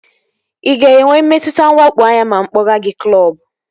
Ị ga-enwe mmetụta nwakpo anya ma mụ kpọga gị klọbu?